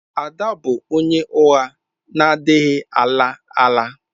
Ada bụ onye ụgha na-adịghị ala ala.